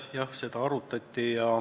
Jah, seda arutati.